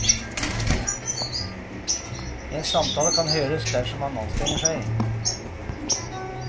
En samtale kan høres dersom man anstrenger seg.